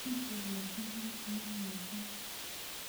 nyikisen musiket nii mising